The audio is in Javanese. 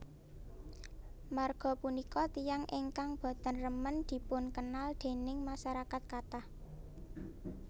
Marga punika tiyang ingkang boten remen dipunkenl déning masarakat kathah